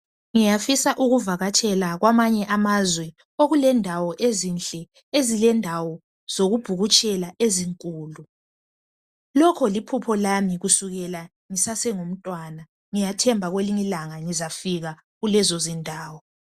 Ngiyafisa ukuvakatshela kwamanye amazwe okulendawo ezinhle lendawo zokubhukutshela ezinkulu. Lokho liphupho lami kusukela ngisase ngumntwana. Ngiyathemba kwelinye ilanga ngizafika kulezondawo.